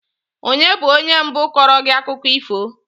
Onye bụ onye mbụ kọọrọ gị akụkọ ifo?